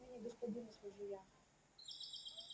отныне господину служу я